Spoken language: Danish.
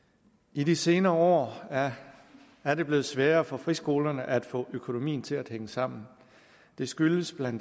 i de senere år er er det blevet sværere for friskolerne at få økonomien til at hænge sammen det skyldes bla